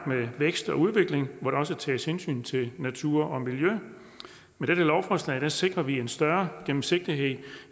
med vækst og udvikling hvor der også tages hensyn til natur og miljø med dette lovforslag sikrer vi en større gennemsigtighed